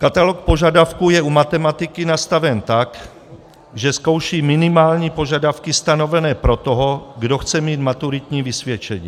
Katalog požadavků je u matematiky nastaven tak, že zkouší minimální požadavky stanovené pro toho, kdo chce mít maturitní vysvědčení.